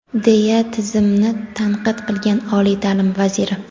deya tizimni tanqid qilgan oliy ta’lim vaziri.